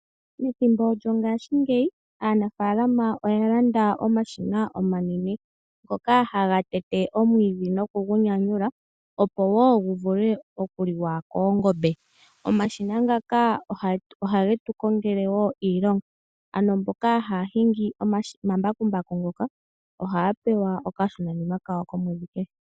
Methimbo lyongashingeyi aanafaalama oya landa omashina omanene ngoka haga tete omwiidhi noku gu nyanyula opo guvule okuliwa koongombe. Omashina nga ohage tukongele iilonga. Aantu mboka haya hingi omashina ngaka ohaya pewa woo ondjambi.